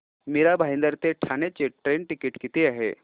मीरा भाईंदर ते ठाणे चे train ticket किती आहे